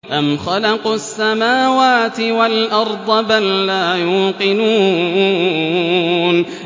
أَمْ خَلَقُوا السَّمَاوَاتِ وَالْأَرْضَ ۚ بَل لَّا يُوقِنُونَ